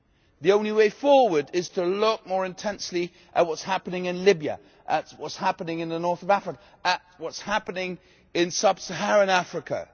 the only way forward is to look more intensely at what is happening in Libya, at what is happening in the North of Africa, at what is happening in Sub Saharan Africa.